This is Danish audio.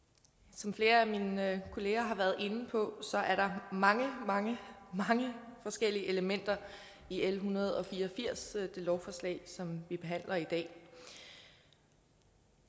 som flere af mine kolleger har været inde på er der mange mange forskellige elementer i l en hundrede og fire og firs det lovforslag som vi behandler i dag